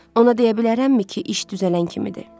Ona deyə bilərəmmi ki, iş düzələn kimidir?